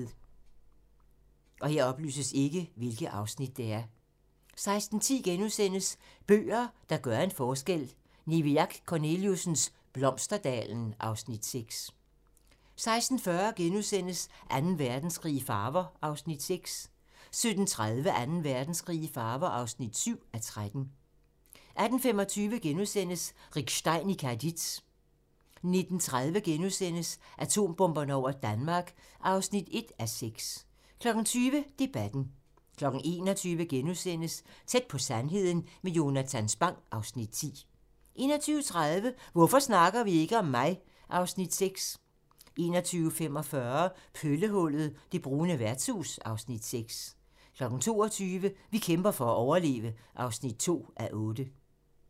16:10: Bøger, der gør en forskel: Niviaq Korneliussens "Blomsterdalen" (Afs. 6)* 16:40: Anden Verdenskrig i farver (6:13)* 17:30: Anden Verdenskrig i farver (7:13) 18:25: Rick Stein i Cadiz * 19:30: Atombomberne over Danmark (1:6)* 20:00: Debatten 21:00: Tæt på sandheden med Jonatan Spang (Afs. 10)* 21:30: Hvorfor snakker vi ikke om mig? (Afs. 6) 21:45: Pøllehullet - det brune værtshus (Afs. 6) 22:00: Vi kæmper for at overleve (2:8)